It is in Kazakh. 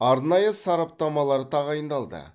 арнайы сараптамалар тағайындалды